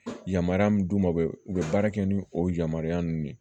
Yamaruya min d'u ma u bɛ u bɛ baara kɛ ni o yamaruya ninnu de ye